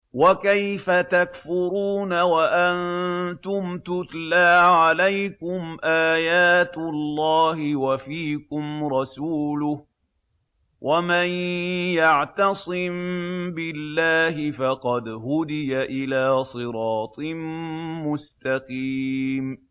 وَكَيْفَ تَكْفُرُونَ وَأَنتُمْ تُتْلَىٰ عَلَيْكُمْ آيَاتُ اللَّهِ وَفِيكُمْ رَسُولُهُ ۗ وَمَن يَعْتَصِم بِاللَّهِ فَقَدْ هُدِيَ إِلَىٰ صِرَاطٍ مُّسْتَقِيمٍ